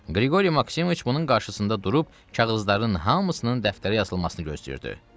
Qriqoriy Maksimoviç bunun qarşısında durub kağızların hamısının dəftərə yazılmasını gözləyirdi.